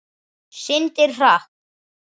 Syndir hratt.